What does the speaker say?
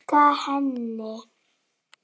Storka henni.